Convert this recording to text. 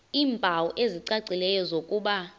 iimpawu ezicacileyo zokuba